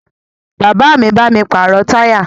Bàbá mi bá mi pàrọ̀ táyà